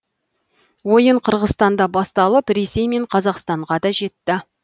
ойын қырғызстанда басталып ресей мен қазақстанға да жетті